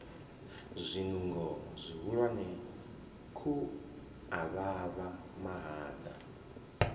zwinungo zwihulwane khu avhavha mahaḓa